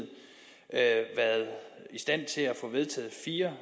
at i stand til at få vedtaget fire